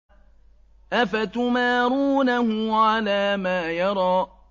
أَفَتُمَارُونَهُ عَلَىٰ مَا يَرَىٰ